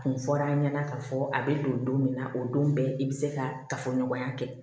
Kun fɔ r'a ɲɛna k'a fɔ a bɛ don don min na o don bɛɛ i bɛ se ka kafoɲɔgɔnya kɛ